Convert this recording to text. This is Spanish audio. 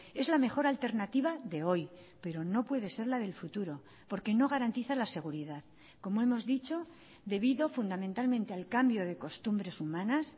es la mejor alternativa de hoy pero no puede ser la del futuro porque no garantiza la seguridad como hemos dicho debido fundamentalmente al cambio de costumbres humanas